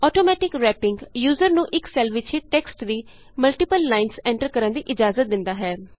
automatic wrapping user ਨੂੰ ਇਕ cell ਵਿਚ ਹੀ ਟੈਕਸਟ ਦੀ ਮਲਟੀਪਲ ਲਾਈਨਸ ਐਂਟਰ ਕਰਨ ਦੀ ਇਜ਼ਾਜਤ ਦਿੰਦਾ ਹੈ